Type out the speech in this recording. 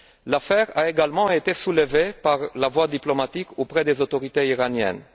L'affaire a également été soulevée par la voie diplomatique auprès des autorités iraniennes.